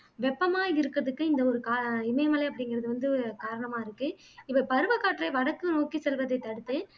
வெப்பமாய் இருக்குறதுக்கு இந்த ஒரு காரண இமயமலை அப்படிங்குறது வந்து காரணமாய் இருக்கு இவை பருவக்காற்றை வடக்கு நோக்கி செல்வதைத் தடுத்து